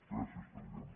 gràcies president